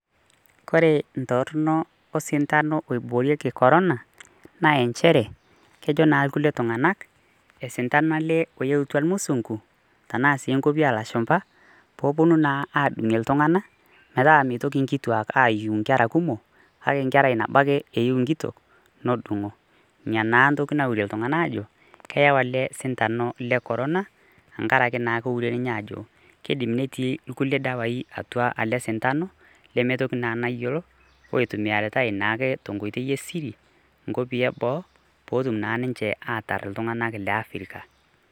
Kore in ntorno osintano oiboorieki korona naa enchere, kejo naa ilkulie tung'anak, osintano ele oulyoutua musungu, anaa sii inkwapi oo lashumba pee epuonu naa adungie iltung'ana metaa meitoki nkituak ayiu inkera kumok kake nkerai nabo ake eyiou nkitok notung'o. Nena naa ake ntoki naure iltung'ana aajo keyau ele sintanu le korona enkara ake eure naa ninye ajo keidim netii ilkulie dawai atua ele sintanu lemeitoki naa naji iyoo oitumiyaritai naake tenkoitoi e siri, nkopii ee boo petum naa ninche aatar iltung'ana le Africa.